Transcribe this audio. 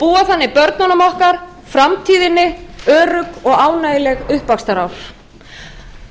búa þannig börnunum okkar framtíðinni örugg og ánægjuleg uppvaxtarár